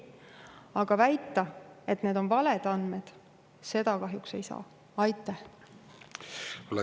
Aga väita, et need on valed andmed,.